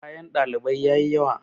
kayan ɗalibai ya yi yawa